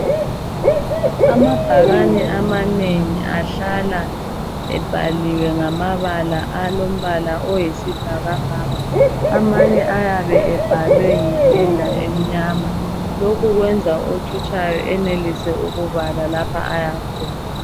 Amabhakane amanengi ahlala ebhaliwe ngamabala alombala oyisibhakabhaka amanye ayabe ebhalwe ngependa emnyama lokhu kwenza othutshayo enelise ukubala lapho ayakhona.